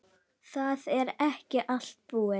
Það er ekki allt búið.